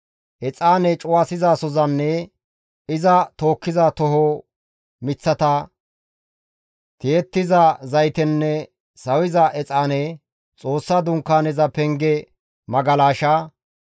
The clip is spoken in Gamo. exaane cuwasizasozanne iza tookkiza tooho miththata, tiyettiza zaytenne sawiza exaane, Xoossa Dunkaaneza penge magalasha,